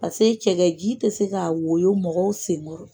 Pase cɛkɛji tɛ se ka woyo mɔgɔw senkɔrɔ.